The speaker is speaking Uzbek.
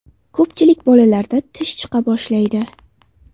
Ko‘pchilik bolalarda tish chiqa boshlaydi.